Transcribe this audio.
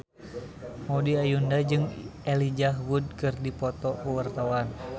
Maudy Ayunda jeung Elijah Wood keur dipoto ku wartawan